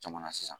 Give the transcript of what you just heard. Caman na sisan